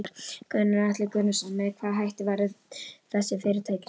Gunnar Atli Gunnarsson: Með hvaða hætti verða þessi fyrirtæki seld?